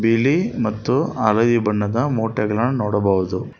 ಬಿಳಿ ಮತ್ತು ಹಳದಿ ಬಣ್ಣದ ಮೂಟೆಗಳನ್ನು ನೋಡಬಹುದು.